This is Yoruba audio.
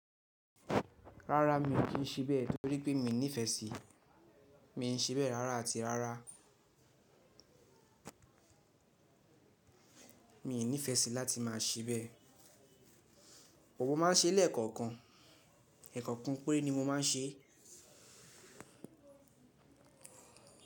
Rárá mi ò kí ń ṣibẹ̀ torí pé mi ò nífẹ́ sí i, mi n ṣibẹ̀ rárá àti rárá. Mi ò nífẹ́ sí láti má a ṣebẹ̀. Mo má n ṣe lẹ́ẹ̀kọ̀kan, ẹ̀kọ̀kan péré ni mo má n ṣe.